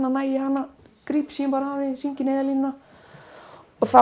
næ í hana gríp símann hringi í Neyðarlínuna og þá